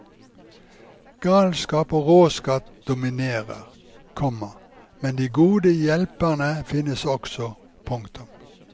Galskap og råskap dominerer, komma men de gode hjelperne finnes også. punktum